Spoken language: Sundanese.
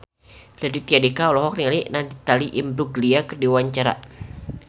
Raditya Dika olohok ningali Natalie Imbruglia keur diwawancara